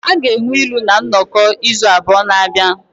A ga-enwe ilu na nnọkọ izu abụọ na-abịa.